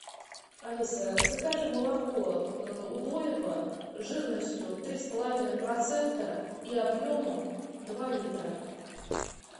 алиса закажи молоко удоево жирностью три с половиной процента и объемом два литра